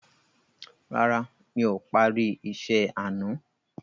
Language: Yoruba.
Rárá, mi ò parí isẹ́ àná.